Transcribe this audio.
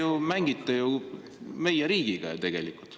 Te ju mängite meie riigiga tegelikult.